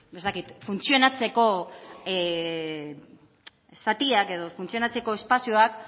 ez dakit funtzionatzeko zatiak edo funtzionatzeko espazioak